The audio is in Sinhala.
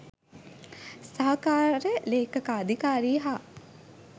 සහකාර ලේඛකාධිකාරී හා